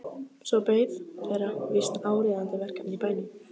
Svo beið þeirra víst áríðandi verkefni í bænum.